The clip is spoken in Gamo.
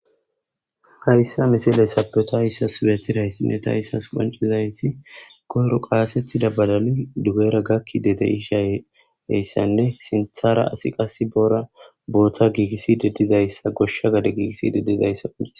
hayssa misileysaape tayssas betidaysinne tayissas qoncizayti goru qaasettida badali dugera gakkide deishaeyssanne sinthara asi qas boora boota giigisided dizayssa goshsha gade giigisside dizaysako